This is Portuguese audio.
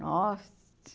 Nossa!